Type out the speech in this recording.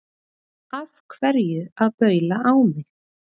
Af hverju að baula á mig?